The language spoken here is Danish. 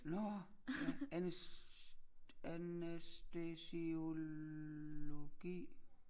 Nårh ja anæstesiologi